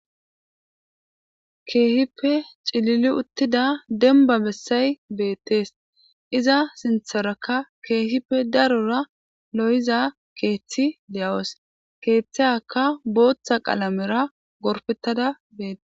keehippe cilili uttida demba bessay beettees iza sintharakka keehippe darora lo7iza keeththi deyawos keeththaaka booththa qalamera gorpettada bee